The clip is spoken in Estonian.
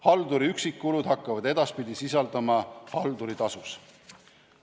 Halduri üksikkulud hakkavad edaspidi sisaldama halduritasusid.